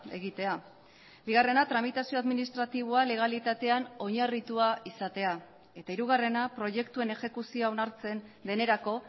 egitea bigarrena tramitazio administratiboa legalitatean oinarritua izatea eta hirugarrena proiektuen exekuzioa onartzen denerako